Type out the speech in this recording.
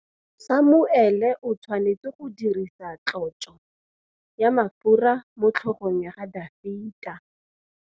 Samuele o tshwanetse go dirisa tlotsô ya mafura motlhôgong ya Dafita.